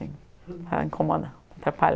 Sim, Incomoda, atrapalha.